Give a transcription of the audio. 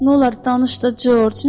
Nolar, danış da Corc.